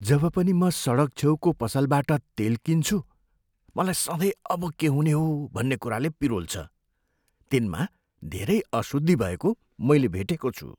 जब पनि म सडकछेउको पसलबाट तेल किन्छु मलाई सधैँ अब के हुने हो भन्ने कुराले पिरोल्छ। तिनमा धेरै अशुद्धी भएको मैले भेटेको छु।